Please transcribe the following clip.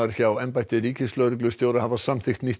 hjá embætti ríkislögreglustjóra hafa samþykkt nýtt